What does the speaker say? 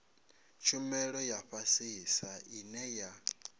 tshumelo ya fhasisa ine ya